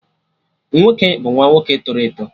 Nwoke bụ nwa nwoke tọrọ eto